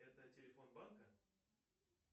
это телефон банка